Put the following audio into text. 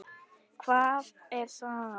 Hvað er saga?